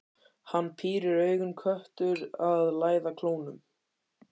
Hann pírir augun, köttur að læða klónum.